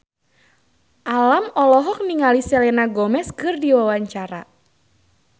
Alam olohok ningali Selena Gomez keur diwawancara